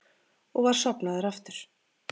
Og var sofnaður aftur.